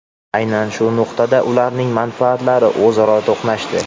Aynan shu nuqtada ularning manfaatlari o‘zaro to‘qnashdi.